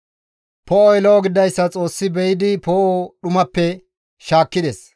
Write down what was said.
Poo7oy lo7o gididayssa Xoossi be7idi poo7o dhumappe shaakkides.